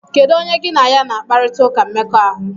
Kedu onye gị na ya na akparita ụka mmekọahụ?